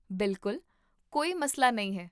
ਬਿਲਕੁਲ! ਕੋਈ ਮਸਲਾ ਨਹੀਂ ਹੈ